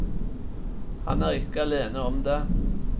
Han er ikke alene om det.